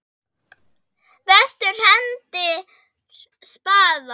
Vestur hendir spaða.